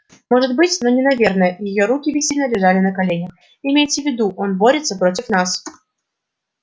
может быть но не наверное её руки бессильно лежали на коленях имейте в виду он борется против нас